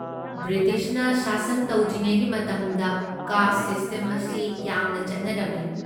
ꯕ꯭ꯔꯤꯇꯤꯁꯅ ꯁꯥꯁꯟ ꯇꯧꯗ꯭ꯔꯤꯉꯩꯒꯤ ꯃꯇꯝꯗ, ꯀꯥꯁꯠ ꯁꯤꯁꯇꯦꯝ ꯑꯁꯤ ꯌꯥꯝꯅ ꯆꯠꯅꯔꯝꯃꯤ꯫